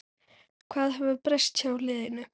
Hvað hefur breyst hjá liðinu?